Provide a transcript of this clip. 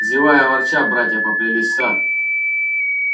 зевая и ворча братья поплелись в сад